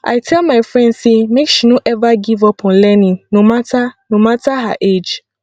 i tell my friend sey make she no eva give up on learning no mata no mata her age